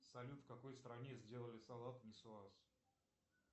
салют в какой стране сделали салат нисуаз